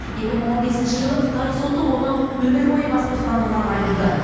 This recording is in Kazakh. екі мың он бесінші жылы қытай соты оны өмір бойы бас бостандығынан айырды